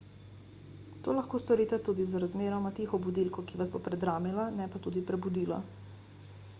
to lahko storite z razmeroma tiho budilko ki vas bo predramila ne pa tudi prebudila